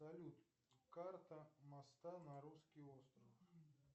салют карта моста на русский остров